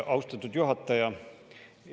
Austatud juhataja!